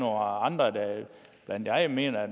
andre der endda mener at